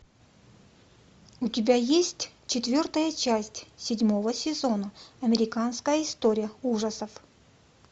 у тебя есть четвертая часть седьмого сезона американская история ужасов